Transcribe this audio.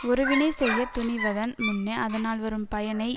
ஒருவினை செய்ய துணிவதன் முன்னே அதனால் வரும் பயனை